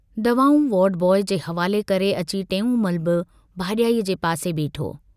दवाऊं ward boy जे हवाले करे अची टेऊंमल बि भाजाईअ जे पासे बीठो।